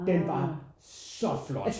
Den var så flot